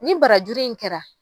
Ni barajuru in kɛra.